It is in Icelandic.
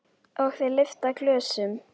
Og þeir lyfta glösum.